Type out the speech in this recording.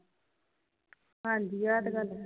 ਹਾਂਜੀ ਆ ਤੇ ਗੱਲ ਹੈ